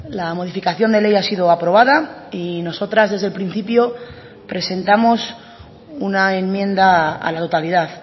la modificación de ley ha sido aprobada y nosotras desde el principio presentamos una enmienda a la totalidad